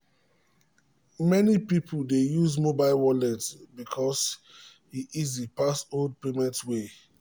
many people dey use mobile wallet because e easy pass old payment way.